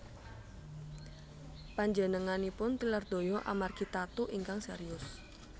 Panjenenganipun tilar donya amargi tatu ingkang serius